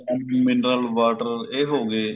mineral water ਇਹ ਹੋ ਗਏ